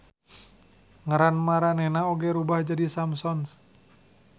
Ngaran maranena oge rubah jadi Samsons.